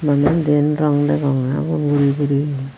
bana diyen rong degongge ugun guri guri.